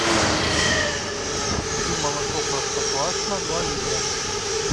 купи молоко простоквашино два литра